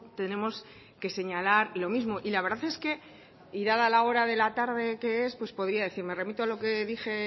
tenemos que señalar lo mismo y la verdad es que y dada la hora de la tarde que es pues podría decir me remito a lo que dije